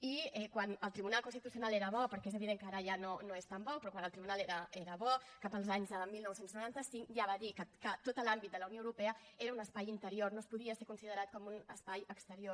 i quan el tribunal constitucional era bo perquè és evident que ara ja no és tan bo però quan el tribunal era bo cap als anys dinou noranta cinc ja va dir que tot l’àmbit de la unió europea era un espai interior no es podia ser considerat com un espai exterior